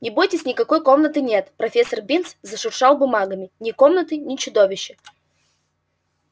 не бойтесь никакой комнаты нет профессор бинс зашуршал бумагами ни комнаты ни чудовища